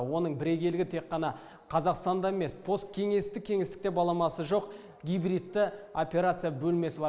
оның бірегейлігі тек қана қазақстанда емес посткеңестік кеңістікте баламасы жоқ гибридті операция бөлмесі бар